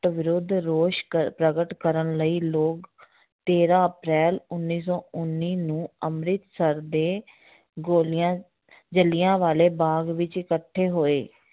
ਵਿਰੁੱਧ ਰੋਸ਼ ਕਰ~ ਪ੍ਰਗਟ ਕਰਨ ਲਈ ਲੋਕ ਤੇਰਾਂ ਅਪ੍ਰੈਲ ਉੱਨੀ ਸੌ ਉੱਨੀ ਨੂੰ ਅੰਮ੍ਰਿਤਸਰ ਦੇ ਗੋਲੀਆਂ ਜਿਲ੍ਹਿਆਂ ਵਾਲੇ ਬਾਗ਼ ਵਿੱਚ ਇਕੱਠੇ ਹੋਏ